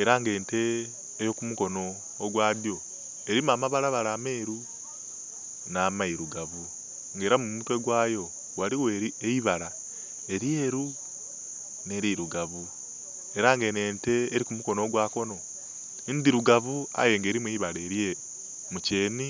era nga ente ey'okumukono ogwa dyo elimu amabalabala ameeru n'amairugavu nga era mu mutwe gwayo ghaligho eibala elyeru nh'elirugavu era nga eno ente eri ku mukono ogwa kono ndhirugavu aye nga erimu eibala elyeru mu kyeni.